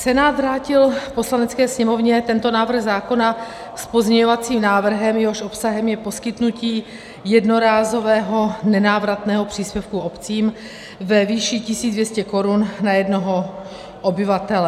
Senát vrátil Poslanecké sněmovně tento návrh zákona s pozměňovacím návrhem, jehož obsahem je poskytnutí jednorázového nenávratného příspěvku obcím ve výši 1 200 korun na jednoho obyvatele.